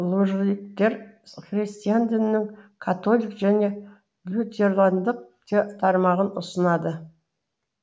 лужиліктер христиан дінінің католик және лютерандық тармағын ұстанады